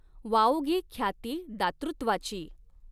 वाऊगी ख्याती दातृत्वाची।